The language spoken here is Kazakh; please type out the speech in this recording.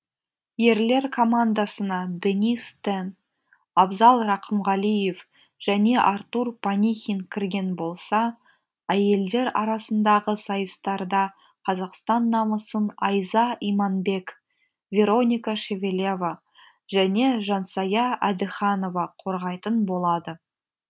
ерлер командасына денис тен абзал рақымғалиев және артур панихин кірген болса әйелдер арасындағы сайыстарда қазақстан намысын айза иманбек вероника шевелева және жансая әдіханова қорғайтын болады